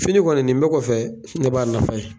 Fini kɔni nin bɛ kɔfɛ ne b'a nafa ye.